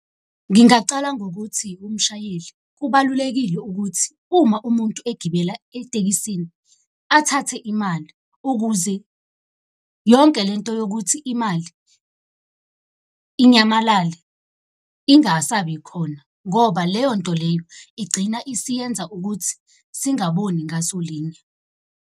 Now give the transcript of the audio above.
Ngingacala ngokuthi umshayeli kubalulekile ukuthi uma umuntu egibela etekisini, athathe imali ukuze yonke le nto yokuthi imali inyamalale ingasabikhona. Ngoba leyo nto leyo igcina isiyenza ukuthi singaboni ngaso linye.